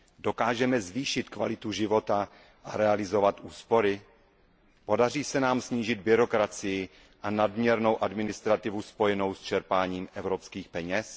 Dokážeme zvýšit kvalitu života a realizovat úspory? Podaří se nám snížit byrokracii a nadměrnou administrativu spojenou s čerpáním evropských peněz?